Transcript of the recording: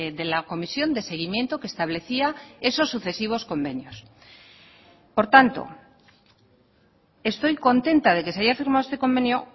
de la comisión de seguimiento que establecía esos sucesivos convenios por tanto estoy contenta de que se haya firmado este convenio